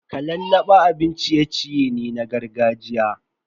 Kalallaba abin ciye-ciye ne na gargajiya.